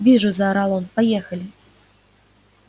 вижу заорал он поехали